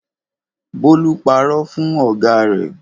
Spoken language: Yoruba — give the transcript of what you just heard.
Bólú parọ́ fún ọ̀gá rẹ̀.